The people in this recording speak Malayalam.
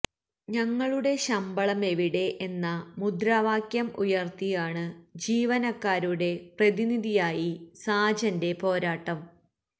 ഞങ്ങളുടെ ശമ്പളമെവിടെ എന്ന മുദ്രാവാക്യം ഉയർത്തിയാണ് ജീവനക്കാരുടെ പ്രതിനിധിയായി സാജന്റെ പോരാട്ടം